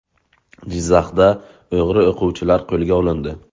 Jizzaxda o‘g‘ri o‘quvchilar qo‘lga olindi.